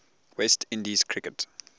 west indies cricket